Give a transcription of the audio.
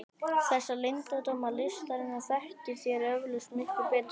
Þessa leyndardóma listarinnar þekkið þér eflaust miklu betur en ég.